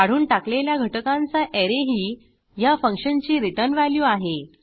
काढून टाकलेल्या घटकांचा ऍरे ही ह्या फंक्शनची रिटर्न व्हॅल्यू आहे